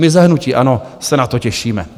My za hnutí ANO se na to těšíme.